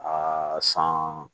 Aa san